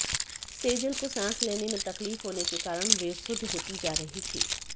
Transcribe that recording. सेजल को सांस लेने में तकलीफ होने के कारण बेसुध होती जा रही थी